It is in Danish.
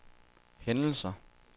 hændelser